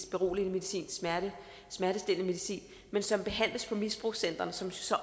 beroligende medicin smertestillende medicin men som behandles på misbrugscentrene som så